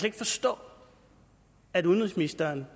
ikke forstå at udenrigsministeren